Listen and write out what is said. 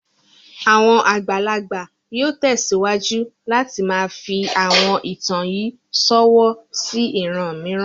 Àwọn àgbàlagbà yóò tẹsiwaju láti máa fi àwọn ìtàn yìí ṣọwọ́ sí ìran mìíràn.